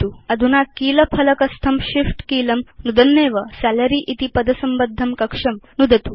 अधुना कीलफ़लकस्थं Shift कीलं नुदन्नेव सालारी इति पदसंबद्धं कक्षं नुदतु